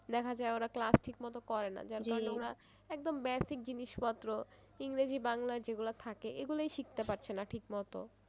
দেখা যায় ওরা class ঠিক মতো করেনা যার কারনে ওরা একদম basic জিনিসপত্র ইংরেজি বাংলা যেগুলো থাকে এইগুলোই শিখতে পারছেনা ঠিক মতো।